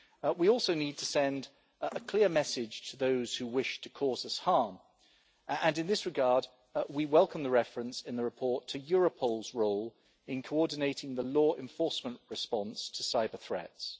We also need to send a clear message to those who wish to cause us harm, and in this regard we welcome the reference in the report to Europol's role in coordinating the law enforcement response to cyber-threats.